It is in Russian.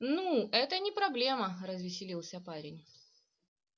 ну это не проблема развеселился парень